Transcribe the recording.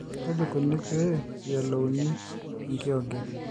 kaji ikoni pee eyiolouni enkiyioget.